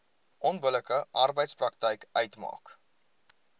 onbillike arbeidspraktyk uitmaak